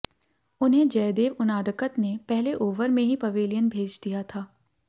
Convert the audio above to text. उन्हें जयदेव उनादकत ने पहले ओवर में ही पवेलियन भेज दिया था